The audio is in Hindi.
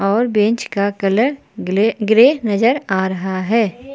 और बेंच का कलर ग्ले ग्रे नजर आ रहा है।